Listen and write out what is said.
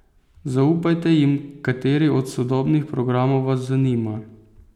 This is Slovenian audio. Zaupajte jim kateri od sodobnih programov vas zanima.